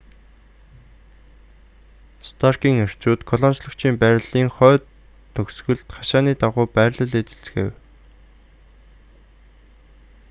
старкийн эрчүүд колончлогчийн байрлалын хойд төгсгөлд хашааны дагуу байрлал эзэлцгээв